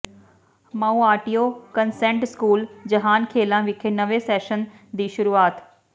Mount View convent school Jahankhelan ਵਿਖੇ ਨਵੇਂ session ਦੀ ਸ਼ੁਰੂਆਤ